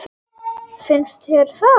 Finnst þér það?